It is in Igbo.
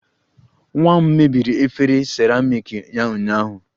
Nwa m mebiri efere seramiiki ya ụnyaahụ